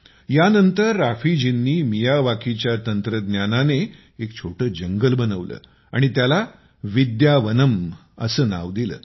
यानंतर रफीजींनी मियावाकीच्या तंत्रज्ञानाने एक छोटे जंगल बनवले आणि त्याला विद्यावनम असे नाव दिले